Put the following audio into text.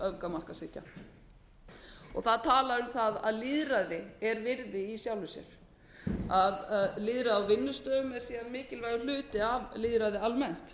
öfgamarkaðshyggju það er talað um það að lýðræði er virði í sjálfu sér að lýðræði á vinnustöðum sé mikilvægur hluti af lýðræði almennt